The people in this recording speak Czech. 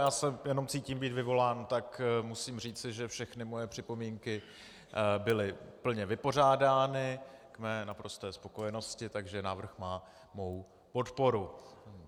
Já se jenom cítím být vyvolán, tak musím říci, že všechny moje připomínky byly plně vypořádány k mé naprosté spokojenosti, takže návrh má mou podporu.